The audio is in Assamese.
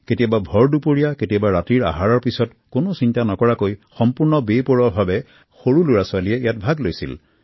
কেতিয়াবা ভৰ দূপৰীয়া কেতিয়াবা ৰাতিৰ আহাৰৰ পাছত কোনো চিন্তা নকৰাকৈ সম্পূৰ্ণ মুক্ত মনেৰে শিশুসকলে ইয়াত ভাগ লৈছিল